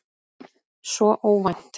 Svo óvænt.